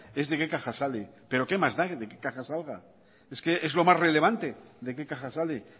es de qué caja sale pero que más da de qué caja salga es que es lo más relevante de qué caja sale